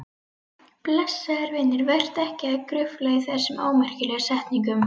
Blessaður vinur, vertu ekki að grufla í þessum ómerkilegu setningum.